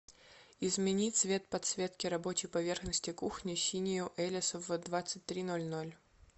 измени цвет подсветки рабочей поверхности кухни синюю элис в двадцать три ноль ноль